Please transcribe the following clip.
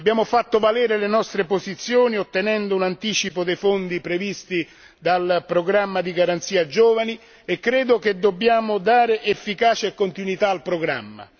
Abbiamo fatto valere le nostre posizioni ottenendo un anticipo dei fondi previsti dal programma di garanzia per i giovani e credo che dobbiamo dare efficacia e continuità al programma.